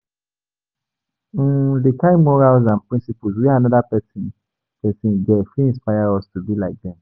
um Di kind morals and principles wey anoda person person get fit inspire us to be like them